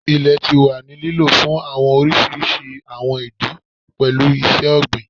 Ilẹ ti wa ni lilo fun awọn oriṣiriṣi awọn idi, pẹlu iṣẹ-ogbin